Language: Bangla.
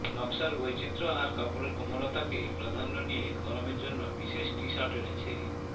নকশার বৈচিত্র্য আর কাপড়ের কোমলতাকে প্রাধান্য নিয়ে গরমের জন্য বিশেষ টি শার্ট এনেছে